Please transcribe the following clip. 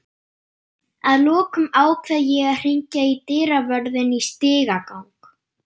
Að lokum ákveð ég að hringja í dyravörðinn í stigagang